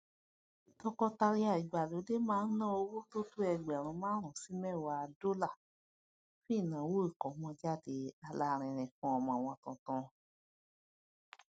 tọkọtaya ìgbàlódé má n na owó tótó ẹgbẹrun márùún sí méwàá dólà fún ìnáwó ikomojade alarinrin fún ọmọ wọn tuntun